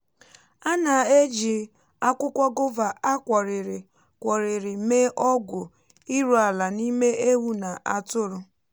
ana-eji akwukwo gova á kworìrì kworìrì mee ọgwụ iru ala n’ime ewu na atụrụ.